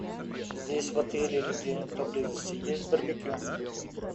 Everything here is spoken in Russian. здесь в отеле или где нибудь поблизости есть барбекю